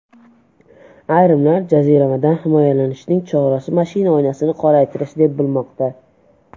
Ayrimlar jaziramadan himoyalanishning chorasi mashina oynasini qoraytirish deb bilmoqda.